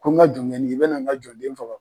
Anw ŋa jɔŋɛni i bɛna ŋa jɔn den faga